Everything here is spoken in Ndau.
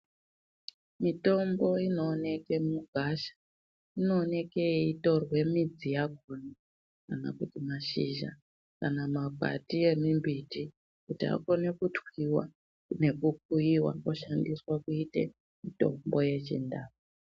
Mitombo inooneke mugwasha inooneke yeitorwe midzi yakoma kana kuti mazhizha kana makwati emimbiti kuti akonewe kutwiwa okuyiwa oshandiswa kuite mutombo yeChindau.